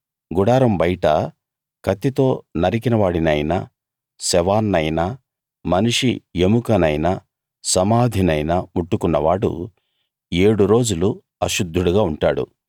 గుడారం బయట కత్తితో నరికిన వాడినైనా శవాన్నైనా మనిషి ఎముకనైనా సమాధినైనా ముట్టుకున్నవాడు ఏడు రోజులు అశుద్ధుడుగా ఉంటాడు